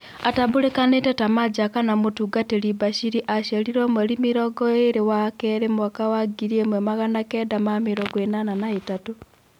Atambũrĩkĩte ta-Maja kana Mũtungatĩri Bashiri aciarirwo mweri mĩrongoĩrĩ wa-kerĩ mwaka wa ngiri ĩmwe magana kenda na mĩrongo ĩnana na-ĩtatu.